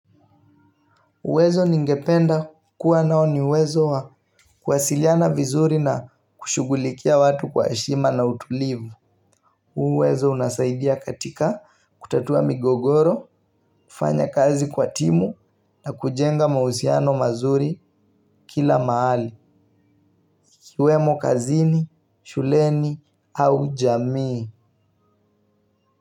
Uwezo ningependa kuwa nao ni uwezo wa kuwasiliana vizuri na kushughulikia watu kwa heshima na utulivu. Huu uwezo unasaidia katika kutatua migogoro, kufanya kazi kwa timu na kujenga mahusiano mazuri kila mahali. Ikiwemo kazini, shuleni au jamii.